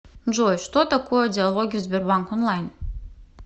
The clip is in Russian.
джой что такое диалоги в сбербанк онлайн